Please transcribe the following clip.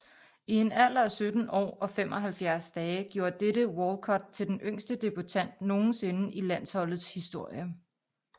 I en alder af 17 år og 75 dage gjorde dette Walcott til den yngste debutant nogensinde i landsholdets historie